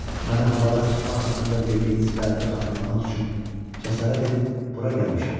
ona görə də mənə havadar çıxmaq haqqında verdiyiniz vədi xatırlamaq üçün cəsarət edib bura gəlmişəm.